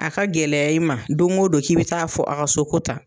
A ka gɛlɛya i ma don o don k'i bɛ taa fɔ a ka so ko tan.